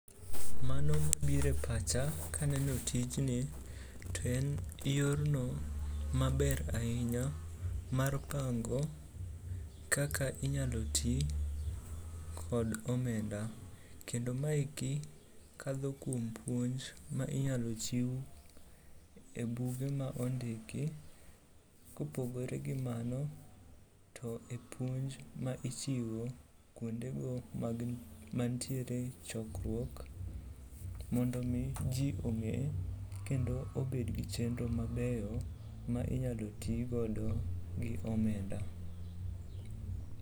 Mano mabiro e pacha kaneno tijni to en yorno maber ahinya mar pango kaka inyalo ti kod omenda. Kendo maeki kadho kuom puonj ma inyalo chiw e buge ma ondiki. Kopogore gi mano, to e puonj ma ichiwo kuondego mantiere chokruok mondo omi ji ong'e kendo obed gi chenro mabeyo ma inyalo tigodo gi omenda.